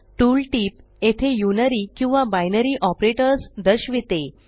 tool tip येथे unary किंवा binary operators दर्शविते